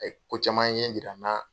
Ko caman ɲɛ yira n' na.